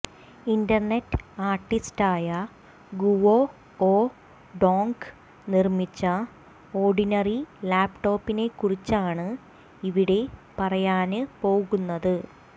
internet ആര്ട്ടിസ്റ്റായ Guo O Dong നിര്മിച്ച ordinary ലാപ്ടോപ്പിനെക്കുറിച്ചാണ് ഇവിടെ പറയാന് പോകുന്നത്